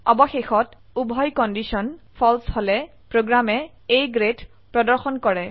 অবশেষত উভয় কন্ডিশন ফালছে হলে প্ৰোগ্ৰামে A গ্ৰেড প্ৰদৰ্শন কৰে